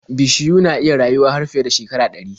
Bishiyu na iya rayuwa har fiye da shekara ɗari.